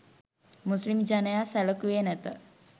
මුස්ලිම් ජනයා සැළකුවේ නැත